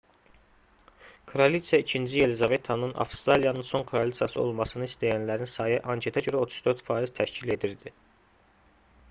kraliçə ii yelizavetanın avstraliyanın son kraliçası olmasını istəyənlərin sayı anketə görə 34 faiz təşkil edirdi